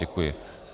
Děkuji.